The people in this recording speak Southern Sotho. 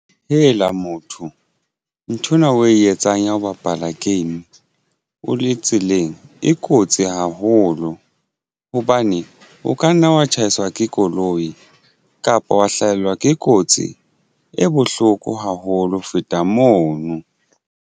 Motho nthwena o e etsang ya ho bapala game o le tseleng e kotsi haholo hobane o ka nna wa tshaiswa ke koloi kapa wa hlahelwa ke kotsi bohloko haholo ho feta mono.